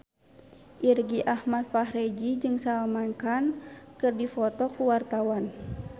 Irgi Ahmad Fahrezi jeung Salman Khan keur dipoto ku wartawan